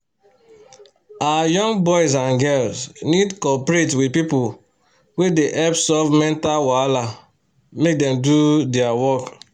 our young boys and girls need coperate with pipu wey they hep solve mental wahala make dem do dia work